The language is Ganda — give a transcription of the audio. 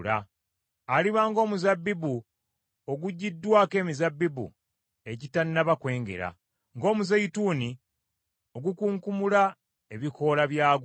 Aliba ng’omuzabbibu ogugiddwako emizabbibu egitannaba kwengera, ng’omuzeyituuni ogukunkumula ebikoola byagwo.